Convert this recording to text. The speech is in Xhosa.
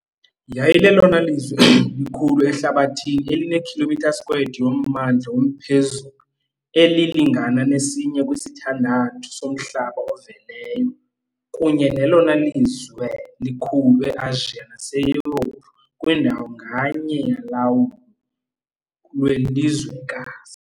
Yayilelona lizwe likhulu ehlabathini eline km² yommandla womphezulu, elilingana nesinye kwisithandathu somhlaba oveleyo, kunye nelona lizwe likhulu e-Asiya naseYurophu, kwindawo nganye yolawulo lwelizwekazi.